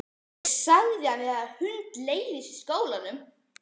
Ég sagði að mér hefði hundleiðst í skólanum!